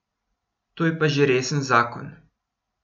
To je pa že resen zakon.